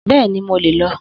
Bẹ́ẹ̀ni, mo lè lọ